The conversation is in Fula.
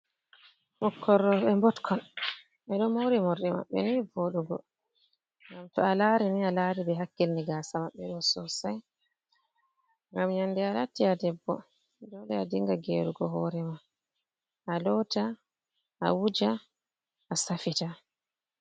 Ɓukkon rouɓe mbotkon, ɓe ɗo moori morɗi maɓɓe ni vooɗugo. ngam to a laari ni a laari ɓe hakkilini gaasa maɓɓe ɗo sosai, ngam nyande a latti a debbo dole a dinga geerugo hoore ma, a loota a wuja a saffita.